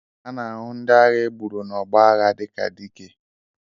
A na-ahụ ndị agha e gburu n'ọgbọ agha dịka Dike